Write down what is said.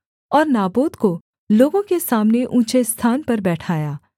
और नाबोत को लोगों के सामने ऊँचे स्थान पर बैठाया